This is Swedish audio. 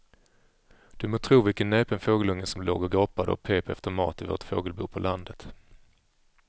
Du må tro vilken näpen fågelunge som låg och gapade och pep efter mat i vårt fågelbo på landet.